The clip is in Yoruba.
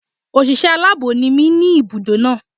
Òṣìṣẹ́ aláàbọ̀ ni mí ní ibùdó náà.